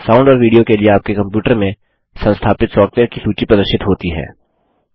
sound और video के लिए आपके कंप्यूटर में संस्थापित सॉफ्टवेयर की सूची प्रदर्शित होती है